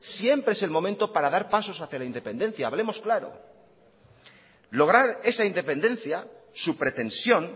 siempre es el momento para dar pasos hacia la independencia hablemos claro lograr esa independencia su pretensión